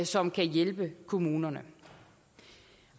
som kan hjælpe kommunerne